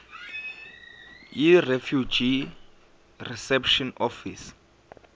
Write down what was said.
yirefugee reception office